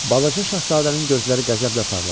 Balaca şahzadənin gözləri qəzəblə parladı.